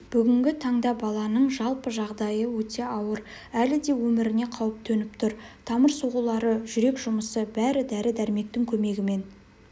бүгінгі таңда баланың жалпы жағдай өте ауыр әлі де өміріне қауіп төніп тұр тамыр соғулары жүрек жұмысы бәрі дәрі-дәрмектің көмегімен